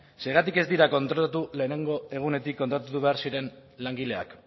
zergatik ez dira kontratatu lehenengo egunetik kontratatu behar ziren langileak